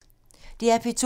DR P2